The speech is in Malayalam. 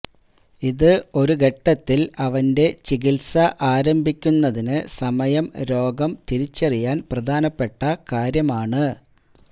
ഇത് ഒരു ഘട്ടത്തിൽ അവന്റെ ചികിത്സ ആരംഭിക്കുന്നതിന് സമയം രോഗം തിരിച്ചറിയാൻ പ്രധാനപ്പെട്ട കാര്യമാണ്